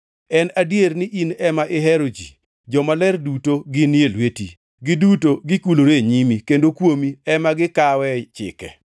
En adier ni in ema ihero ji, jomaler duto ginie lweti. Giduto gikulore e nyimi kendo kuomi ema gikawe chike,